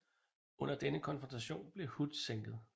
Under denne konfrontation blev Hood sænket